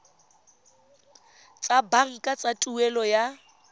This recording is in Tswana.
tsa banka tsa tuelo ya